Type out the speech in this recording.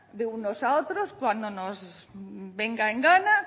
de unos a otros cuando nos venga en gana